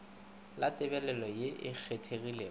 la tebalelo ye e kgethegilego